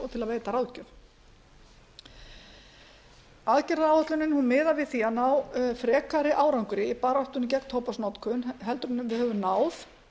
og til að veita ráðgjöf aðgerðaáætlunin miðar við það að ná frekari árangri í baráttunni gegn tóbaksnotkun heldur en við höfum náð